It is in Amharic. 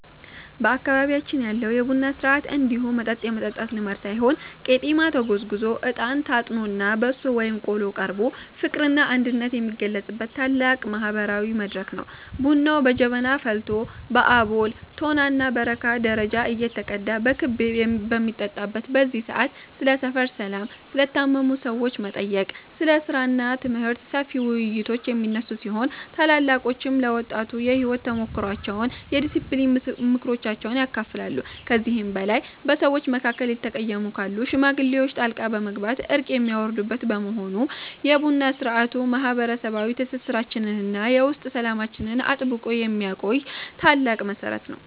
በአካባቢያችን ያለው የቡና ሥርዓት እንዲሁ መጠጥ የመጠጣት ልማድ ሳይሆን ቄጤማ ተጎዝጉዞ፣ እጣን ታጥኖና በሶ ወይም ቆሎ ቀርቦ ፍቅርና አንድነት የሚገለጽበት ታላቅ ማህበራዊ መድረክ ነው። ቡናው በጀበና ፈልቶ በአቦል፣ ቶናና በረካ ደረጃ እየተቀዳ በክብ በሚጠጣበት በዚህ ሰዓት፣ ስለ ሰፈር ሰላም፣ ስለ ታመሙ ሰዎች መጠየቅ፣ ስለ ሥራና ትምህርት ሰፊ ውይይቶች የሚነሱ ሲሆን፣ ታላላቆችም ለወጣቱ የሕይወት ተሞክሯቸውንና የዲስፕሊን ምክሮችን ያካፍላሉ። ከዚህም በላይ በሰዎች መካከል የተቀየሙ ካሉ ሽማግሌዎች ጣልቃ በመግባት እርቅ የሚያወርዱበት በመሆኑ፣ የቡና ሥርዓቱ ማህበረሰባዊ ትስስራችንንና የውስጥ ሰላማችንን አጥብቆ የሚያቆይ ታላቅ መሠረት ነው።